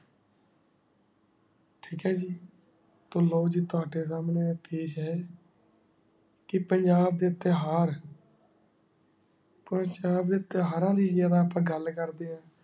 ਠੀਕ ਹ ਜੀ ਲੋ ਜੀ ਤਾਵਾਡੀ ਸੰਨੀ ਪੇਸ਼ ਹੈ ਕੀ ਪੰਜਾਬ ਦੇ ਇਤ੍ਹਾਰ ਕੋਈ ਪੰਜਾਬ ਦੇ ਇਤ੍ਹਾਰਾ ਦੀ ਯਾਰ ਅਪਾ ਗਲ ਕਰ ਦੇ ਆਂ